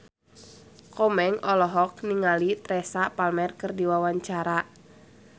Komeng olohok ningali Teresa Palmer keur diwawancara